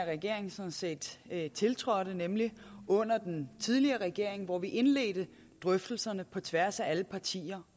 regering sådan set tiltrådte nemlig under den tidligere regering hvor vi indledte drøftelserne på tværs af alle partier